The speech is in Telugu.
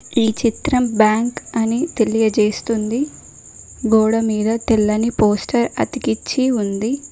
ఈ చిత్రం బ్యాంక్ అని తెలియజేస్తుంది గోడ మీద తెల్లని పోస్టర్ అతికిచ్చి ఉంది.